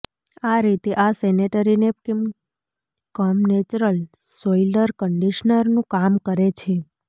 આ રીતે આ sanitary napkin cum natural soil કન્ડીશનરનું કામ કરે છે